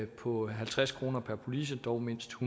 på halvtreds kroner per police dog mindst